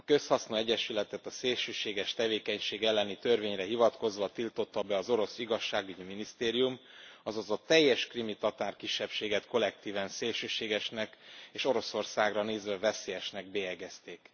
A közhasznú egyesületet a szélsőséges tevékenység elleni törvényre hivatkozva tiltotta be az orosz igazságügyi minisztérium, azaz a teljes krími tatár kisebbséget kollektíven szélsőségesnek és Oroszországra nézve veszélyesnek bélyegezték.